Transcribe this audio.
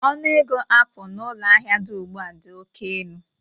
Ọnụ ego apụl na ụlọ ahịa dị ugbu a dị oke elu